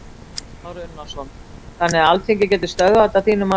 Kristján Már Unnarsson: Þannig að Alþingi getur stöðvað þetta að þínu mati?